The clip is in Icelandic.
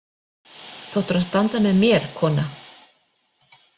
Þú áttir að standa með mér, kona.